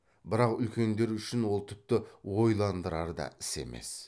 бірақ үлкендер үшін ол тіпті ойландырар да іс емес